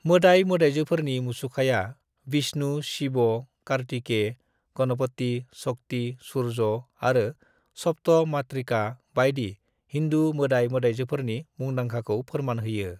"मोदाइ-मोदाइजोफोरनि मुसुखाया विष्णु, शिव, कार्तिकेय, गणपति, शक्ति, सूर्य आरो सप्त मातृका बायदि हिन्दु मोदाइ-मोदाइजोफोरनि मुंदांखाखौ फोरमान होयो।"